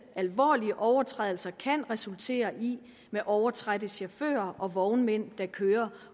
alvorlige overtrædelser kan resultere i med overtrætte chauffører og vognmænd der kører